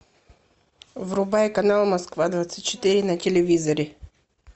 врубай канал москва двадцать четыре на телевизоре